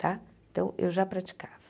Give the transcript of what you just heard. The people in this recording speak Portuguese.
Tá então, eu já praticava.